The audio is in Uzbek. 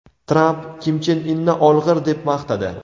Tramp Kim Chen Inni olg‘ir deb maqtadi.